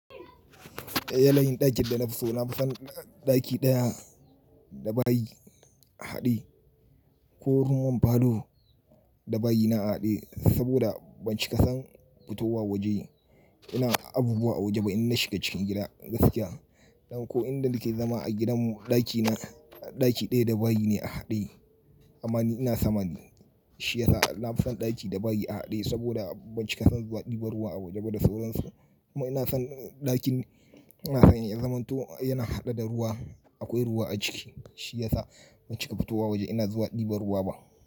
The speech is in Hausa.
Ya nayin ɗakin da na fi so na fi son ɗaki ɗaya da bayi haɗe ko room and falo da bayi na haɗe saboda ban cika ka son fitowa waje ina abubuwa a waje ba inna shiga cikin gida gaskiya. Ɗan ko inda nake zama a gidanmu ɗaki na ɗaki ɗaya da bayi ne a haɗe ammani ina sama shi yasa na fi son ɗaki da bayi a haɗe saboda ban cika san zuwa ɗiba ruwa a waje ba da sauran su. Amma ina son ɗakin ina son ya zama to yana haɗe da ruwa akwai ruwa a ciki shi yasa baki ka fitowa waje ina zuwa ɗiban ruwa ba.